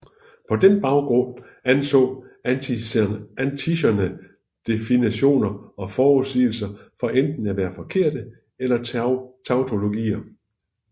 På den baggrund anså Antisthenes definitioner og forudsigelser for enten at være forkerte eller tautologier